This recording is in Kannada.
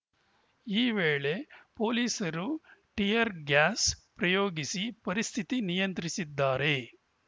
ಈ ವೇಳೆ ಪೊಲೀಸರು ಟಿಯರ್‌ ಗ್ಯಾಸ್‌ ಪ್ರಯೋಗಿಸಿ ಪರಿಸ್ಥಿತಿ ನಿಯಂತ್ರಿಸಿದ್ದಾರೆ